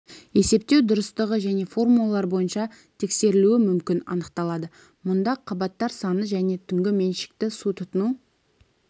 есептеу дұрыстығы және формулалар бойынша тексерілуі мүмкін анықталады мұнда қабаттар саны және түнгі меншікті су тұтыну